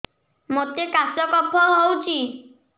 ମୋତେ କାଶ କଫ ହଉଚି